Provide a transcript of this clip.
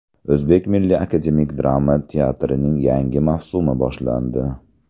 O‘zbek Milliy akademik drama teatrining yangi mavsumi boshlandi.